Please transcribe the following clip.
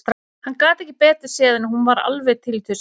Hann gat ekki betur séð en að hún væri alveg til í tuskið.